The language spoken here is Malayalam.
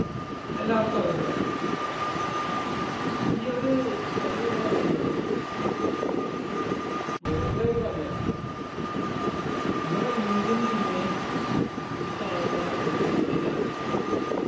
എല്ലാവർക്കും അറിയുന്ന കാര്യ ഈ ഒരു കളി എന്നു പറയുന്നത് വെറുതെ ഒരു കളിയല്ല നമ്മുടെ Indian team നെ ഈ കാണുന്ന ഒരു രീതിയിൽ ആക്കിയത്